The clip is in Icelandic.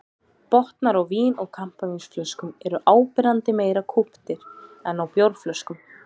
Botnar á vín- og kampavínsflöskum eru áberandi meira kúptir en á bjórflöskum.